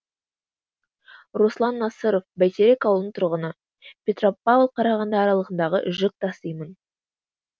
руслан насыров бәйтерек ауылының тұрғыны петропавл қарағанды аралығындағы жүк тасимын